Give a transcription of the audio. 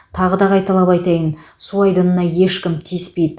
тағы да қайталап айтайын су айдынына ешкім тиіспейді